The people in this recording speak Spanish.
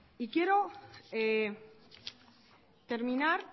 quiero terminar